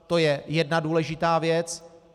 To je jedna důležitá věc.